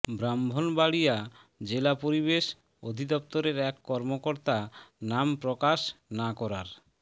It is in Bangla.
ব্রাহ্মণবাড়িয়া জেলা পরিবেশ অধিদপ্তরের এক কর্মকর্তা নাম প্রকাশ না করার